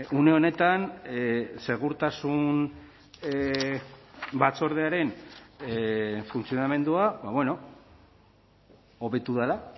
une honetan segurtasun batzordearen funtzionamendua hobetu dela